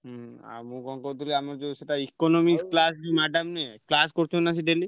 ହୁଁ ଆଉ ମୁଁ କଣ କହୁଥିଲି ଆମର ଯୋଉ ସେଇଟା economics class madam ନିଏ class କରୁଛନ୍ତି ନା ସିଏ daily ।